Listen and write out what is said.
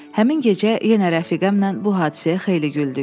Həmin gecə yenə rəfiqəmlə bu hadisəyə xeyli güldük.